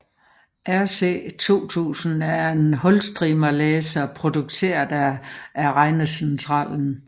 RC2000 er en hulstrimmellæser produceret af Regnecentralen